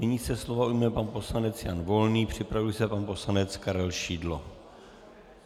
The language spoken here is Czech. Nyní se slova ujme pan poslanec Jan Volný, připraví se pan poslanec Karel Šidlo.